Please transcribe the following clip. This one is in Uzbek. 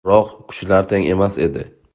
Biroq kuchlar teng emas edi.